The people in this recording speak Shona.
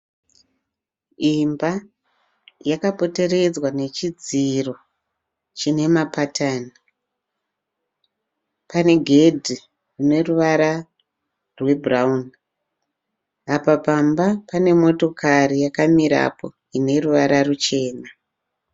Imba yakapomberedzwa nechidziro chine mapatani. Pane gedhi rine ruvara rwebhurawuni. Apa pamba pane motokari yakamirapo ine ruvara ruchena.